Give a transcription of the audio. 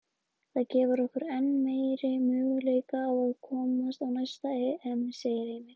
Það gefur okkur enn meiri möguleika á að komast á næsta EM, segir Heimir.